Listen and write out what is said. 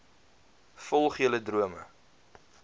volg julle drome